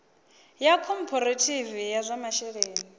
ya khophorethivi ya zwa masheleni